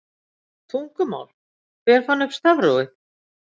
Tungumál Hver fann upp stafrófið?